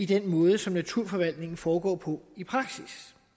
den måde som naturforvaltningen foregår på i praksis